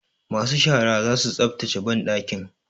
Masu shara za su tsaftace banɗakin.